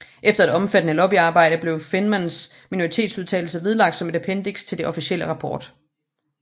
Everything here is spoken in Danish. Efter et omfattende lobbyarbejde blev Feynmans minoritetsudtalelse vedlagt som et appendiks til den officielle rapport